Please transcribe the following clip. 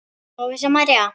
Lovísa María.